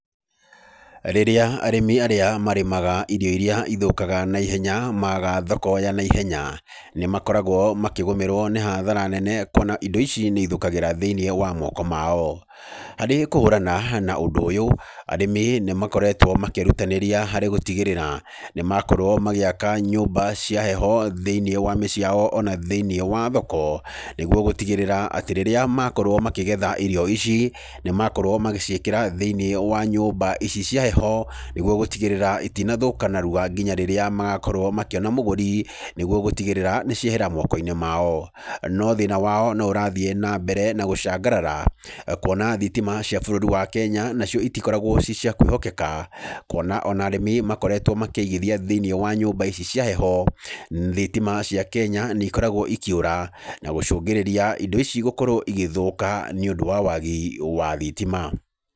Rĩrĩa arĩmi arĩa marĩmaga irio irĩa ithũkaga na ihenya maaga thoko ya na ihenya, nĩ makoragwo makĩgũmĩrwo nĩ hathara nene kuona indo ici nĩ ithũkagĩra thĩiniĩ wa moko mao. Harĩ kũhũrana na ũndũ ũyũ, arĩmi nĩ makoretwo makĩrutanĩria harĩ gũtigĩrĩra nĩ makorwo magĩaka nyũmba cia heho thĩiniĩ wa mĩciĩ yao ona thĩiniĩ wa thoko, nĩguo gũtigĩrĩra atĩ rĩrĩa makorwo makĩgetha irio ici, nĩ makorwo magĩciĩkĩra thĩiniĩ wa nyũmba ici cia heho, nĩguo gũtigĩrĩra itinathũka narua nginya rĩrĩa magakorwo makĩona mũgũri, nĩguo gũtigĩrĩra nĩ ciehera moko-inĩ mao. No thĩna wao no ũrathiĩ na mbere na gũcangarara, kuona thitima cia bũrũri wa Kenya nacio itikoragwo ci cia kwĩhokeka, kuona ona arĩmi makoretwo makĩigithia thĩiniĩ wa nyũmba ici cia heho, thitima cia Kenya nĩ ikoragwo ikĩũra, na gũcũngĩrĩria indo ici gũkorwo igĩthũka nĩ ũndũ wa wagi wa thitima.